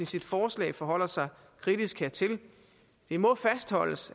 sit forslag forholder sig kritisk hertil det må fastholdes